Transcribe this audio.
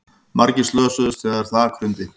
Margir slösuðust þegar þak hrundi